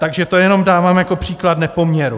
Takže to jenom dávám jako příklad nepoměru.